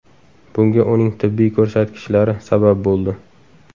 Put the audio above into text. Bunga uning tibbiy ko‘rsatkichlari sabab bo‘ldi.